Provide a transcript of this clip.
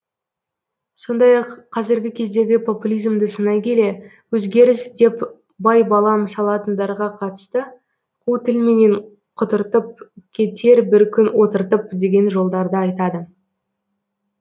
сондай ақ қазіргі кездегі популизмді сынай келе өзгеріс деп байбалам салатындарға қатысты қу тілменен құтыртып кетер бір күн отыртып деген жолдарды айтады